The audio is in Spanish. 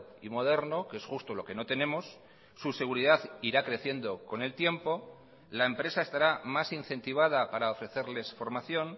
y moderno que es justo lo que no tenemos su seguridad ira creciendo con el tiempo la empresa estará más incentivada para ofrecerles formación